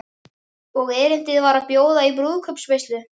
Og erindið var að bjóða í brúðkaupsveislu.